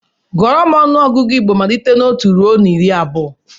Gụọrọ m ọnụọgụgụ Igbo malite na otu ruo iri abụọ!